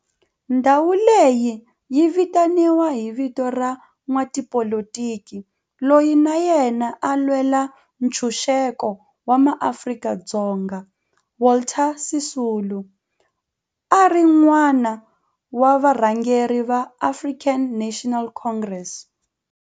Ndhawo leyi yi vitaniwa hi vito ra n'watipolitiki loyi na yena a lwela ntshuxeko wa maAfrika-Dzonga Walter Sisulu, a ri wun'wana wa varhangeri va African National Congress, ANC.